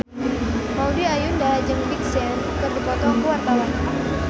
Maudy Ayunda jeung Big Sean keur dipoto ku wartawan